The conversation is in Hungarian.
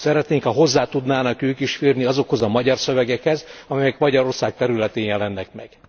Szeretnénk, ha hozzá tudnának ők is férni azokhoz a magyar szövegekhez, amelyek Magyarország területén jelennek meg.